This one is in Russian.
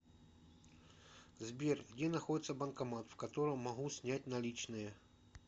сбер где находится банкомат в котором могу снять наличные